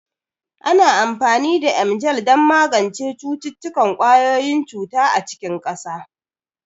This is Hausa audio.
Ana amfani da Emgyl don magance cututtukan ƙwayoyin cuta a cikin ƙasa.